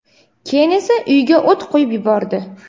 keyin esa uyiga o‘t qo‘yib yubordi.